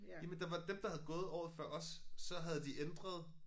Jamen der var dem der havde gået året før os så havde de ændret